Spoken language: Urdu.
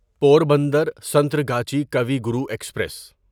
پوربندر سنتراگاچی کاوی گرو ایکسپریس